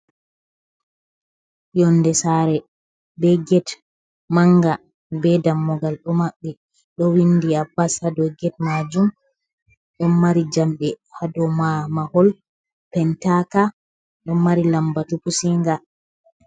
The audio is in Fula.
Yonde sare be ged manga, be dammugal ɗo maɓɓi, ɗo windi Abbas ha dou ged majum. Ɗon mari jamɗe ha dou mahol pentama, ɗo mari lambatu pusinga.